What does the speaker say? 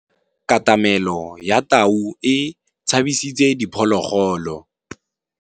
Katamêlô ya tau e tshabisitse diphôlôgôlô.